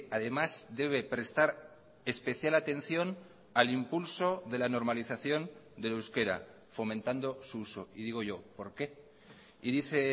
además debe prestar especial atención al impulso de la normalización del euskera fomentando su uso y digo yo por qué y dice